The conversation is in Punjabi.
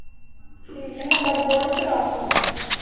ਠੀਕ। ਮੁੰਡਾ ਤੇ ਬਹੁਤ ਸ਼ਰਾਰਤ ਓਹਦਾ।